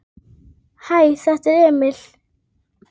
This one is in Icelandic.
Hæ, þetta er Emil.